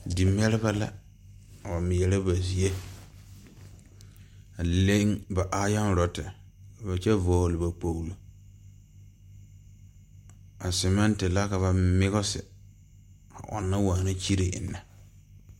Dimɛribɛ a mɛɛrɛ ba zie a leŋ ba aayɔn rɔte a kyɛ vɔgle ba kpoglo a semɛnti la la migisi a ɔŋnɔ waana kyire eŋnɛ.